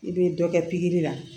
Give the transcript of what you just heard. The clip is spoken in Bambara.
I bɛ dɔ kɛ la